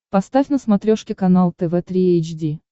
поставь на смотрешке канал тв три эйч ди